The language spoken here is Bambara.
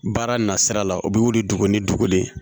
Baara na sira la u bɛ wuli dugu ni dugu de